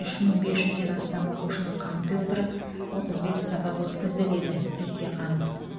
үш мың бес жүзден астам оқушыны қамти отырып отыз бес сабақ өткізді деді бейсеқанов